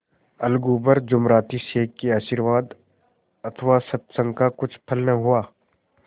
अलगू पर जुमराती शेख के आशीर्वाद अथवा सत्संग का कुछ फल न हुआ